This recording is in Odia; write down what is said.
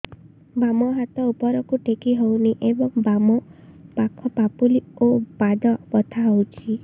ବାମ ହାତ ଉପରକୁ ଟେକି ହଉନି ଏବଂ ବାମ ପାଖ ପାପୁଲି ଓ ପାଦ ବଥା ହଉଚି